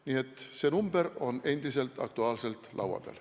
Nii et see number on endiselt aktuaalne ja arutelu all.